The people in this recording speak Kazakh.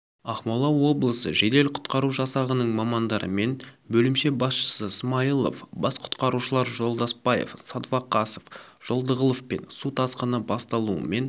ақмола облысы жедел-құтқару жасағының мамандарымен бөлімше басшысы смайылов бас құтқарушылар жолдаспаев садвақасов жолдығұловпен су тасқыны басталуымен